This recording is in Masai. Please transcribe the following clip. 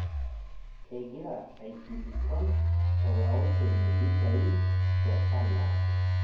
Egira aikilikwan olaosoni mpishai te sanaa